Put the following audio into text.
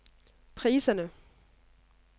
priserne